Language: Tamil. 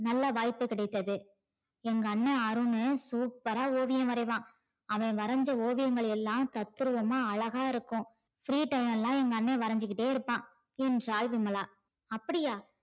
நல்ல வாய்ப்பு கிடைத்தது எங்க அண்ணா அருணு super ஆஹ் ஓவியம் வரைவான் அவன் வரஞ்ச ஓவியங்கள் எல்லாம் தத்ரூபமா அழகா இருக்கும் free time ல லா எங்க அண்ணே வரஞ்சுகிட்டே இருப்பான் என்றால் விமலா அப்டியா